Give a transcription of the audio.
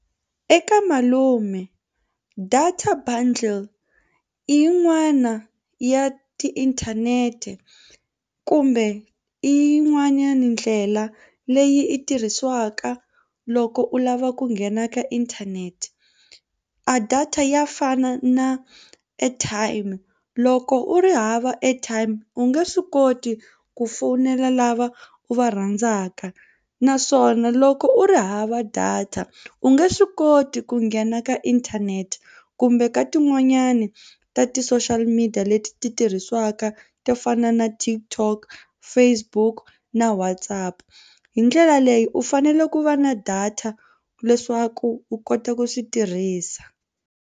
Eka malume data bundle i yin'wana ya tiinthanete kumbe i yin'wanyani ndlela leyi i tirhisiwaka loko u lava ku nghena ka inthanete a data ya fana na airtime loko u ri hava airtime u nge swi koti ku fowunela lava u va rhandzaka naswona loko u ri hava data u nge swi koti ku nghena ka inthanete kumbe ka tin'wanyani ta ti-social media leti ti tirhisiwaka to fana na TikTok, Facebook na WhatsApp hi ndlela leyi u fanele ku va na data leswaku u kota ku swi tirhisa.